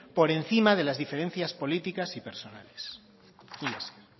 por encima de las diferencias políticas y personales milla esker